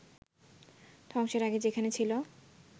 ধ্বংসের আগে যেখানে ছিল